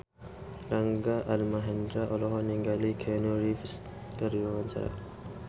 Rangga Almahendra olohok ningali Keanu Reeves keur diwawancara